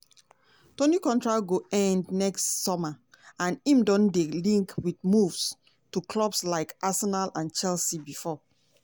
toney contract go end next summer and im don dey linked wit moves to clubs like arsenal and chelsea bifor.